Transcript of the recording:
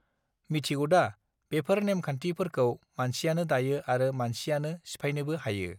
मिथिगौदा बेफोर नेमखान्थि फोरखौ मानसियानो दायो आरो मानसियानो सिफायनोबो हायो